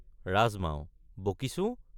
ৰাজমাও—বকিছো!